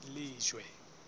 lejwe